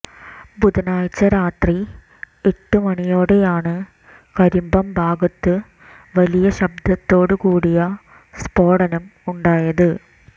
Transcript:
ബുധനാഴ്ച്ച രാത്രി എട്ട് മണിയോടെയാണ് കരിമ്പം ഭാഗത്ത് വലിയ ശബ്ദത്തോടുകൂടിയ സ്ഫോടനം ഉണ്ടായത്